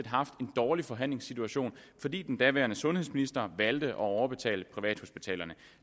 har haft en dårlig forhandlingsposition fordi den daværende sundhedsminister valgte at overbetale privathospitalerne